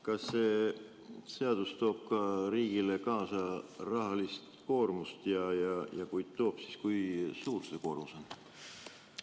Kas see seadus toob riigile kaasa rahalist koormust ja kui toob, siis kui suur see koormus on?